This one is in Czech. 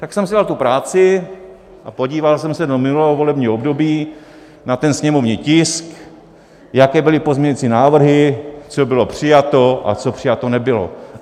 Tak jsem si dal tu práci a podíval jsem se do minulého volebního období na ten sněmovní tisk, jaké byly pozměňovací návrhy, co bylo přijato a co přijato nebylo.